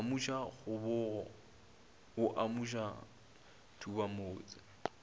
amuša kgobogo o amuša thubamotse